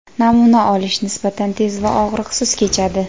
Namuna olish nisbatan tez va og‘riqsiz kechadi.